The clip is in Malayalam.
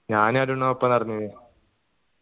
ഞാനും അരുണും ഒപ്പം നടന്ന്